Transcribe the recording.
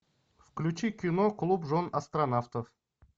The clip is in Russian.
включи кино клуб жен астронавтов